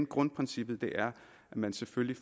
grundprincippet at man selvfølgelig